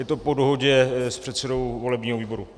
Je to po dohodě s předsedou volebního výboru.